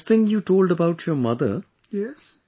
But this thing you told about your mother